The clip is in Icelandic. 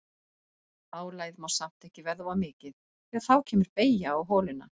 Álagið má samt ekki verða of mikið því að þá kemur beygja á holuna.